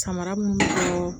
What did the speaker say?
Samara minnu don